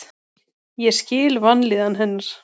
Ég skil vanlíðan hennar.